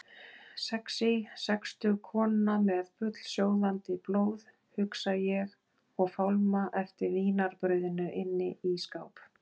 Sexí sextug kona með bullsjóðandi blóð, hugsa ég og fálma eftir vínarbrauðinu inni í skáp.